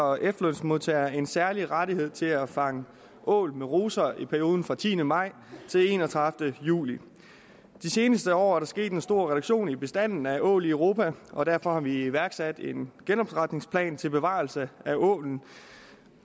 og efterlønsmodtagere en særlig rettighed til at fange ål med ruser i perioden fra den tiende maj til enogtredivete juli de seneste år er der sket en stor reduktion af bestanden af ål i europa og derfor har vi iværksat en genopretningsplan til bevarelse af ålen